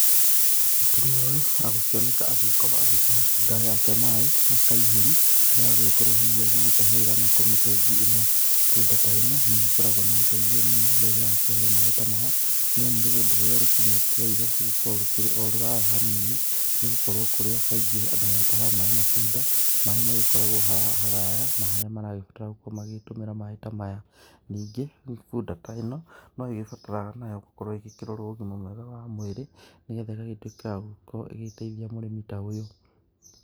Mũtumia ũyũ agũkĩoneka agĩkorwo agĩkĩhe bunda yake maaĩ na kaihũri karĩa agũgĩkorwo hihi agĩtahĩrĩra nako mĩtũngi ĩno. Bunda ta ĩno, nĩ ĩgĩkoragwo na ũteithio mũno rĩrĩa yakĩheo maaĩ ta maya, nĩ amu rũgendo rũrĩa rũkĩmĩetereire rũgĩkoragwo rũkĩrĩ o rũraya hanini, nĩ gũkorwo kũrĩa kaingĩ andũ magĩtahaga maaĩ na bunda, maaĩ magĩkoragwo haraya na harĩa maragĩbatara gũkorwo magĩgĩtũmĩra maaĩ ta maya. Ningĩ bunda ta ĩno, no ĩgĩbataraga nayo gũkorwo ĩgĩkĩrorwo ũgima mwega wa mwĩrĩ nĩ getha ĩgagĩtuĩka ya gũkorwo ĩgĩgĩteithia mũrĩmi ta ũyũ.